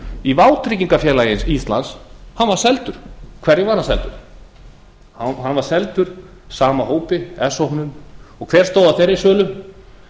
í vátryggingafélagi íslands hann var seldur hverjum var hann seldur hann var seldur sama hópi s hópnum og hver stóð að þeirri sölu það